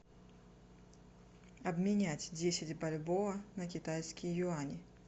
обменять десять бальбоа на китайские юани